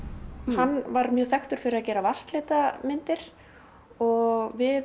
hann var þekktur fyrir að gera vatnslitamyndir og við